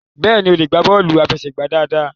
béèni o le gba bọọlu afẹsẹgba dáadáa.